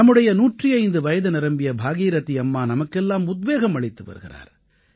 நம்முடைய 105 வயது நிரம்பிய பாகீரதீ அம்மா நமக்கெல்லாம் உத்வேகம் அளித்து வருகிறார்